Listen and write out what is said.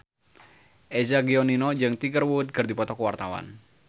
Eza Gionino jeung Tiger Wood keur dipoto ku wartawan